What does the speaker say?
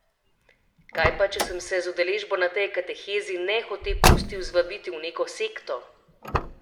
Kaj pa če sem se z udeležbo na tej katehezi nehote pustil zvabiti v neko sekto?